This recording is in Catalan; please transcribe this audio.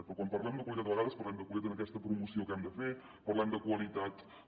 però quan parlem de qualitat a vegades parlem de qualitat en aquesta promoció que hem de fer parlem de qualitat a